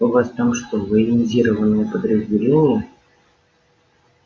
у вас там что военизированное подразделение